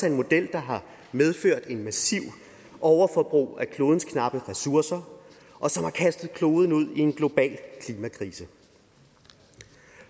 en model der har medført et massivt overforbrug af klodens knappe ressourcer og som har kastet kloden ud i en global klimakrise